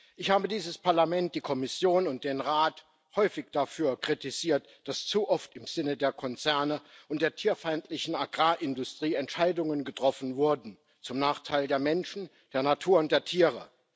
Ich habe dieses Parlament, die Kommission und den Rat häufig dafür kritisiert, dass zu oft im Sinne der Konzerne und der tierfeindlichen Agrarindustrie Entscheidungen getroffen wurden zum Nachteil der Menschen, der Natur und der Tiere.